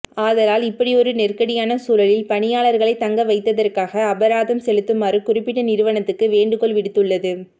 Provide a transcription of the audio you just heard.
ஆதலால் இப்படியொரு நெருக்கடியான சூழலில் பணியாளர்களை தங்கவைத்ததற்காக அபராதம் செலுத்துமாறு குறிப்பிட்ட நிறுவனத்துக்கு வேண்டுகோள்விடுத்துள்ளது